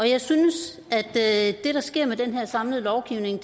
jeg synes at det der sker med den her samlede lovgivning